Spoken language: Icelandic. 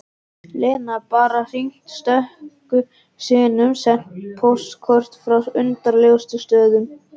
Lena bara hringt stöku sinnum, sent póstkort frá undarlegustu stöðum